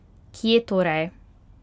Kje torej?